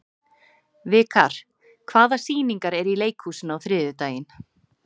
Vikar, hvaða sýningar eru í leikhúsinu á þriðjudaginn?